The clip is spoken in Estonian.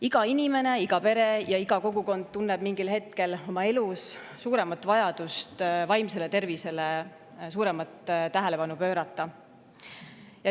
Iga inimene, iga pere ja iga kogukond tunneb mingil hetkel oma elus vajadust vaimsele tervisele suuremat tähelepanu pöörata.